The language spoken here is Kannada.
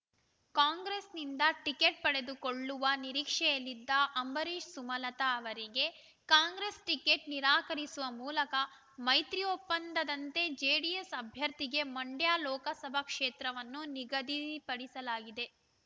ಕಾಂಗ್ರೆಸ್‌ನಿಂದ ಟಿಕೇಟ್ ಪಡೆದುಕೊಳ್ಳುವ ನಿರೀಕ್ಷೆಯಲ್ಲಿದ್ದ ಅಂಬರೀಷ್ ಸುಮಲತಾ ಅವರಿಗೆ ಕಾಂಗ್ರೆಸ್ ಟಿಕೇಟ್ ನಿರಾಕರಿಸುವ ಮೂಲಕ ಮೈತ್ರಿ ಒಪ್ಪಂದದಂತೆ ಜೆಡಿಎಸ್ ಅಭ್ಯರ್ಥಿಗೆ ಮಂಡ್ಯ ಲೋಕಸಭಾ ಕ್ಷೇತ್ರವನ್ನು ನಿಗದಿಪಡಿಸಲಾಗಿದೆ